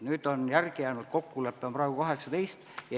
Nüüd on kokkulepe, et neid on 18.